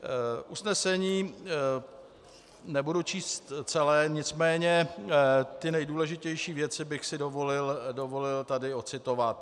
Usnesení nebudu číst celé, nicméně ty nejdůležitější věci bych si dovolil tady odcitovat.